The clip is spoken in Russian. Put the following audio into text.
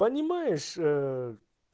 понимаешь